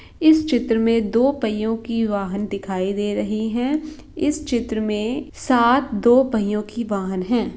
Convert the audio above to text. इस चित्र मे दो पईयों की वाहन दिखाई दे रही है इस चित्र मे सात दो पहियों की वाहन हैं।